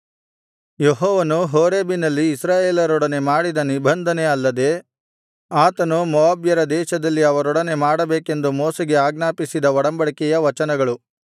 ಯೆಹೋವನು ಹೋರೇಬಿನಲ್ಲಿ ಇಸ್ರಾಯೇಲರೊಡನೆ ಮಾಡಿದ ನಿಬಂಧನೆ ಅಲ್ಲದೆ ಆತನು ಮೋವಾಬ್ಯರ ದೇಶದಲ್ಲಿ ಅವರೊಡನೆ ಮಾಡಬೇಕೆಂದು ಮೋಶೆಗೆ ಆಜ್ಞಾಪಿಸಿದ ಒಡಂಬಡಿಕೆಯ ವಚನಗಳು